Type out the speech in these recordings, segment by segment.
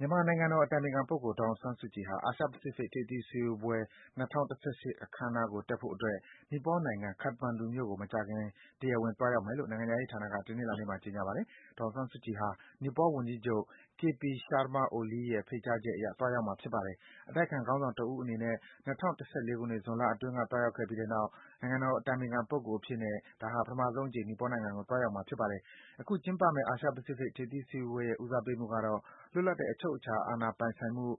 မြန်မာနိုင်ငံတော်အတိုင်ပင်ခံပုဂ္ဂိုလ် ဒေါ်အောင်ဆန်းစုကြည်ဟာ အာရှ-ပစိဖိတ် ထိပ်သီးစည်းဝေးပွဲ ၂၀၁၈ အခမ်းအနားကို တက်ဖို့အတွက် နီပေါနိုင်ငံ၊ ခတ္တမန္ဓူမြို့ကို မကြာခင် တရားဝင် သွားရောက်မယ်လို့ နိုင်ငံခြားရေးဌာနက တနင်္လာနေ့မှာ ကြေညာပါတယ်။ဒေါ်အောင်ဆန်းစုကြည်ဟာ နီပေါဝန်ကြီးချုပ် K.P. Sharma Oli ရဲ့ ဖိတ်ကြားချက်အရ သွားရောက်မှာ ဖြစ်ပါတယ်။ အတိုက်အခံခေါင်းဆောင်တဦးအနေနဲ့ ၂၀၁၄ ခုနှစ်၊ ဇွန်လအတွင်းက သွားရောက်ပြီးတဲ့နောက် နိုင်ငံတော်အတိုင်ပင်ခံ ပုဂ္ဂိုလ်အဖြစ်နဲ့ ပထမဆုံးအကြိမ် နီပေါနိုင်ငံကို သွားရောက်မှာ ဖြစ်ပါတယ်။ အခုကျင်းပမယ့် အာရှ-ပစိဖိတ် ထိပ်သီးစည်းဝေးပွဲရဲ့ ဦးစားပေးမှုကတော့ - လွတ်လပ်တဲ့ အချုပ်အခြာအာဏာပိုင်ဆိုင်မှု၊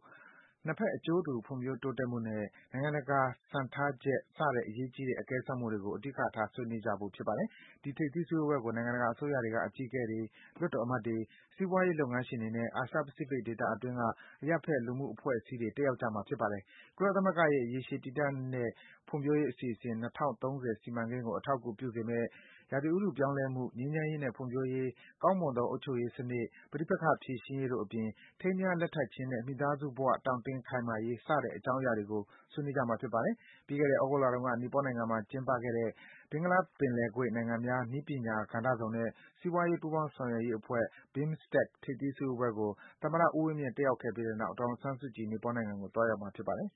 နှစ်ဘက်အကျိုးတူ ဖွံ့ဖြိုးတိုးတက်မှုနဲ့ နိုင်ငံတကာစံထားချက်စတဲ့ အရေးကြီးတဲ့ အကဲစမ်းမှုတွေကို အဓိကထား ဆွေးနွေးကြဖို့ ဖြစ်ပါတယ်။ ဒီ ထိပ်သီးစည်းဝေးပွဲကို နိုင်ငံတကာအစိုးရတွေက အကြီးအကဲတွေ၊ လွှတ်တော်အမတ်တွေ၊ စီးပွားရေးလုပ်ငန်းရှင်တွေနဲ့ အာရှ ပစိဖိတ် ဒေသအတွင်းက အရပ်ဘက် လူမှုအဖွဲ့အစည်းတွေ တက်ရောက်ကြမှာဖြစ်ပါတယ်။ ကုလသမဂ္ဂရဲ့ ရေရှည်တည်တန့်တဲ့ ဖွံ့ဖြိုးရေး အစီအစဉ် ၂၀၃၀ စီမံကိန်းကို အကောက်အကူ ပြုစေမယ့် ရာသီဥတုပြောင်းလဲမှု၊ ငြိမ်းချမ်းရေးနဲ့ ဖွံ့ဖြိုးရေး၊ ကောင်းမွန်သော အုပ်ချုပ်ရေးစံနစ်၊ ပဋိပက္ခဖြေရှင်းရေးတို့အပြင် ထိမ်းမြားလက်ထပ်ခြင်းနဲ့ မိသားစုဘ၀ တောင့်တင်းခိုင်မာရေး စတဲ့ အကြောင်းအရာတွေကို ဆွေးနွေးကြမှာ ဖြစ်ပါတယ်။ ပြီးခဲ့တဲ့ သြဂုတ်လတုန်းက နီပေါနိုင်ငံမှာ ကျင်းပခဲ့တဲ့ ဘင်္ဂလားပင်လယ်ကွေ့နိုင်ငံများ နည်းပညာ ကဏ္ဍစုံနဲ့ စီးပွားရေး ပူးပေါင်း ဆောင်ရွက်ရေးအဖွဲ့ BIMSTEC ထိပ်သီးစည်းဝေးပွဲကို သမ္မတ ဦးဝင်းမြင့် တက်ရောက်ခဲ့ပြီးတဲ့နောက် ဒေါ်အောင်ဆန်းစုကြည် နီပေါနိုင်ငံကို သွားရောက်မှာ ဖြစ်ပါတယ်။